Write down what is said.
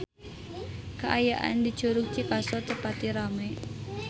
Kaayaan di Curug Cikaso teu pati rame